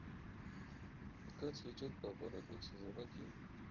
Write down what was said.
пока цветет папоротник сезон один